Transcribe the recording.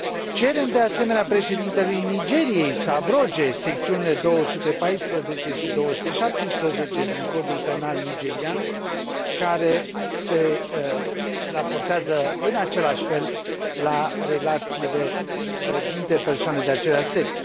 Cerem, de asemenea, președintelui Nigeriei să abroge secțiunile 214 și 217 din Codul Penal nigerian, care se raportează în același fel la relațiile dintre persoane de același sex.